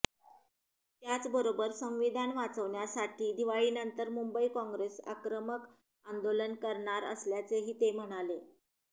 त्याचबरोबर संविधान वाचवण्यासाठी दिवाळीनंतर मुंबई कॉंग्रेस आक्रमक आंदोलन करणार असल्याचेही ते म्हणाले